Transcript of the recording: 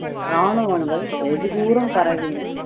ராணுவங்கள் வெகு தூரம் பரவின